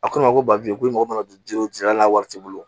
A ko ne ma ko ba bi ko i mago mana don juru la wari t'i bolo